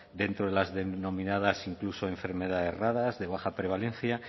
dentro de las denominadas incluso enfermedades raras de baja prevalencia